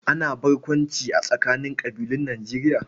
Ana wasan barkwanci a tsakanin ƙabilun Nijerya